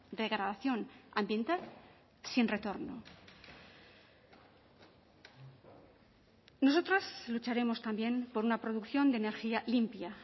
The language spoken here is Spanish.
degradación ambiental sin retorno nosotros lucharemos también por una producción de energía limpia